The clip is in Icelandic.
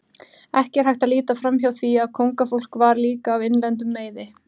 Ekki er hægt að líta framhjá því að kóngafólk var líka af innlendum meiði.